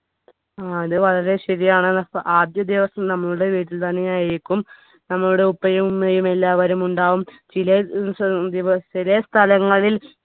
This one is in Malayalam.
ആ അത് വളരെ ശരിയാണ് അഹ് ആദ്യദിവസം നമ്മുടെ വീട്ടിൽ തന്നെയായിരിക്കും നമ്മുടെ ഉപ്പയും ഉമ്മയും എല്ലാവരും ഉണ്ടാവും ചിലെ ചിലെ സ്ഥലങ്ങളിൽ